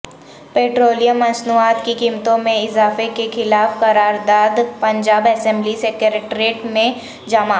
petroleum مصنوعات کی قیمتوں میں اضافے کیخلاف قراردادپنجاب اسمبلی سیکرٹریٹ میں جمع